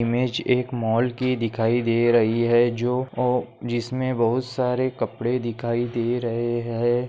Image एक mall की दिखाई दे रही है जो अ जिसमे बहुत सारे कपडे दिखाई दे रहे है।